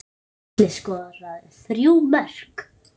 Atli skoraði þrjú mörk.